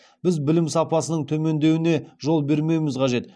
біз білім сапасының төмендеуіне жол бермеуіміз қажет